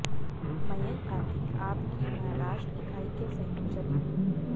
मयंक गांधी आप की महाराष्ट्र इकाई के संयोजक हैं